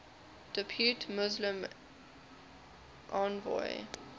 depute muslim envoy